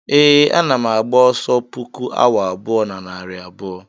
ee, ana m agba ọsọ puku awa abụọ na narị abụọ